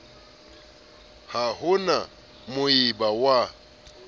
ha ho na moabi wa